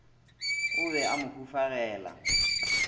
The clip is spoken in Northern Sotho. o be a mo hufagela